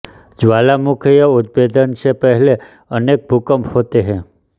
ज्वालामुखीय उद्भेदन से पहले अनेक भूकंप होते हैं